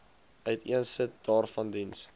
uiteensit waaraan diens